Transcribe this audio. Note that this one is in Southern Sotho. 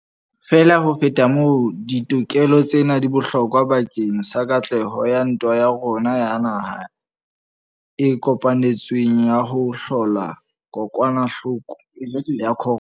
Feela ho feta moo, ditokelo tsena di bohlokwa bakeng sa katleho ya ntwa ya rona ya naha le e kopanetsweng ya ho hlola kokwanahloko ya corona.